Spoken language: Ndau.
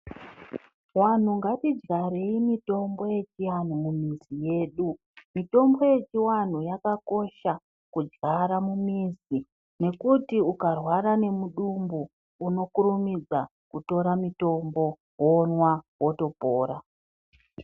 Vanhu ngatidyarei mitombo yechiantu mumizi yedu mitombo yechianhu yakakosha mumizi nekuti ukarwata nemudumbu unokurumidza kutora mutombo womwa wotopora .